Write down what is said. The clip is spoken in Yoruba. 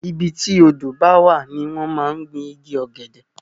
ibi tí odó bá wà ní wọ́n máa ń gbin igi ọ̀gẹ̀dẹ̀